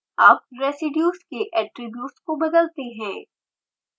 अब रेसीड्यूज़ के ऐट्रिब्यूट्स को बदलते हैं